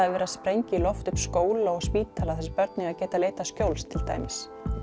er verið að sprengja í loft upp skóla og spítala þar sem börn eiga að geta leitað skjóls til dæmis